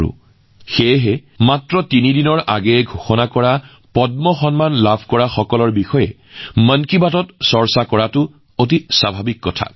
এনে পৰিস্থিতিত যেতিয়া দেশে তিনিদিন পূৰ্বে পদ্ম বঁটা ঘোষণা কৰিছে তেতিয়া মন কী বাতত এনে লোকৰ বিষয়ে আলোচনা কৰাটো স্বাভাৱিক